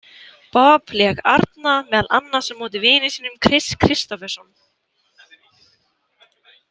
Bob lék arna meðal annars á móti vini sínum Kris Kristofferson.